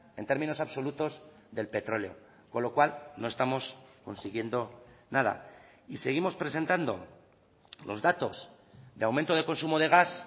en términos absolutos del petróleo con lo cual no estamos consiguiendo nada y seguimos presentando los datos de aumento de consumo de gas